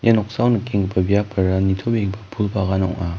noksao nikenggipa biapara nitobegipa pul bagan ong·a.